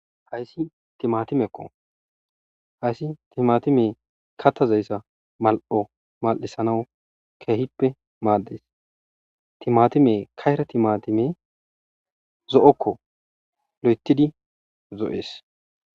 Haysi timatimeko haysi timatimey katazaysa mal'o mal'isanaw kehipe mades timatimey kayra timatimey zo'oko loyto zo'es.